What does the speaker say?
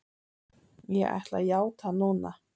Ég ætla að játa núna.